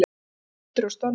Hvílík undur og stórmerki!